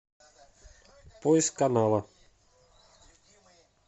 поиск канала